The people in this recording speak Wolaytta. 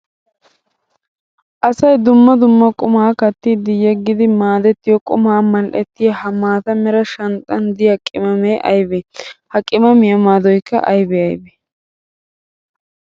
Asay dumma dumma qumma kattidde yegiidi maadettiyo qumma mal'ettiya ha maata mera shanxxan de'iya qimaame aybbe? Ha qimaamiya maadoykka aybbe aybbe?